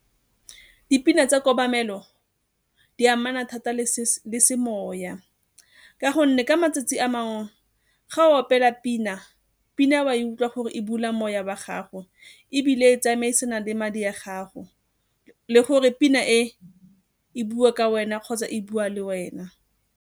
Ke dipina tsa kobamelo, di amana thata le semoya ka gonne ka matsatsi a mangwe ga o opela pina eo a e utlwa gore e bula moya wa gago ebile e tsamaisana le madi a gago le gore pina e e bua ka wena kgotsa e bua le wena.